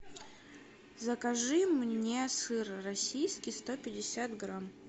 закажи мне сыр российский сто пятьдесят грамм